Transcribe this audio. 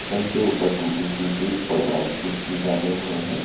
इनके ऊपर टूटी फूटी और ड्राई फ्रूट्स भी डाले हुए हैं।